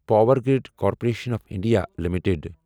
power grid corporation of India limited